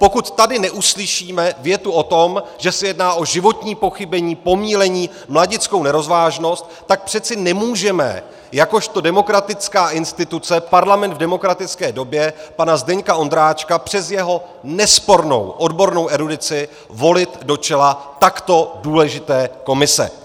Pokud tady neuslyšíme větu o tom, že se jedná o životní pochybení, pomýlení, mladickou nerozvážnost, tak přece nemůžeme jakožto demokratická instituce, parlament v demokratické době, pana Zdeňka Ondráčka přes jeho nespornou odbornou erudici volit do čela takto důležité komise.